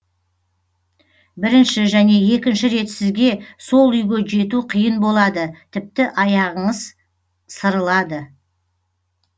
бірінші және екінші рет сізге сол үйге жету қиын болады тіпті аяғыңыз сырылады